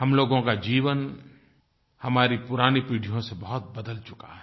हम लोगों का जीवन हमारी पुरानी पीढ़ियों से बहुत बदल चुका है